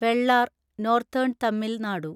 Vellar (northern Tamil Nadu)